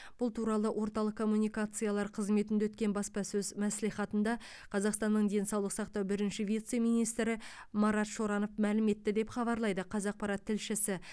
бұл туралы орталық коммуникациялар қызметінде өткен баспасөз мәслихатында қазақстанның денсаулық сақтау бірінші вице министрі марат шоранов мәлім етті деп хабарлайды қазақпарат тілшісі